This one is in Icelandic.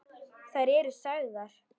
Þær eru sagðar.